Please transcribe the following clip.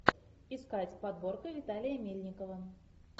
искать подборка виталия мельникова